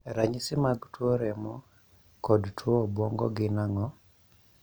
Ranyisi mag tuo remo kod tuo obwongo gin ang'o?